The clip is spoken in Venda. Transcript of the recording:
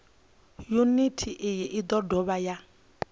yuniti iyi i dovha ya